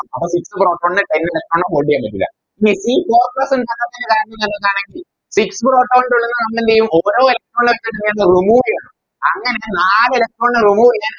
അപ്പൊ Six proton നെ കൈയില് വെക്കാനോ hold യ്യാനോ പറ്റൂല ഇനി ഈ Four plus ഇണ്ടാവാത്തെന് കാരണംന്ന് പറഞ്ഞാലെന്താണ് Six proton ന്റുള്ളിന്ന് നമ്മളെന്തേയും ഓരോ Electron നെ ആയിട്ട് ന്ത ചെയ്യന്നെ Remove ചെയ്യും അങ്ങനെ നാലേ Electron ചെയ്താല്